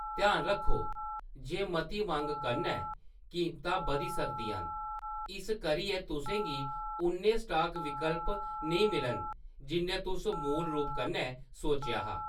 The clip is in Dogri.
ध्यान रक्खो जे मती मंग कन्नै कीमतां बधी सकदियां न, इस करियै तुसें गी उन्ने स्टॉक विकल्प नेईं मिलन जिन्ने तुसें मूल रूप कन्नै सोचेआ हा।